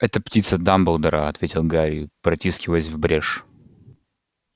это птица дамблдора ответил гарри протискиваясь в брешь